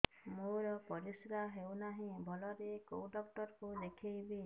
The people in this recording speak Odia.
ମୋର ପରିଶ୍ରା ହଉନାହିଁ ଭଲରେ କୋଉ ଡକ୍ଟର କୁ ଦେଖେଇବି